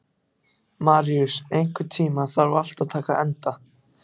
Maríus, einhvern tímann þarf allt að taka enda.